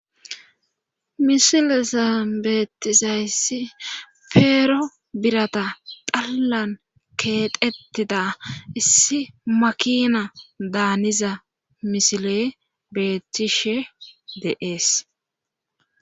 misilizaabeetizayssi feero birata tallan keeqettida issi makina daaniza misile beettishe deees